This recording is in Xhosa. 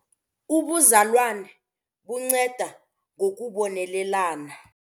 Ubuzalwane bunceda ngokubonelelana.